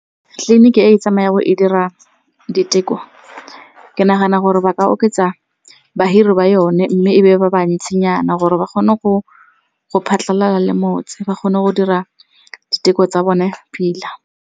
Tleliniki e tsamaya go e dira diteko ke nagana gore ba ka oketsa bahiri ba yone mme e be ba ba ntsinyana gore ba kgone go phatlhalala le motse, ba kgone go dira diteko tsa bone pila.